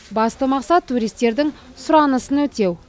басты мақсат туристердің сұранысын өтеу